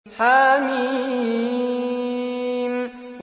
حم